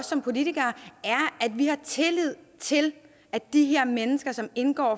som politikere er at vi har tillid til at de her mennesker som indgår